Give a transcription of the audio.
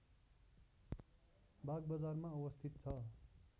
बागबजारमा अवस्थित छ